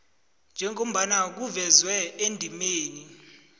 njengobana kuvezwe endimeni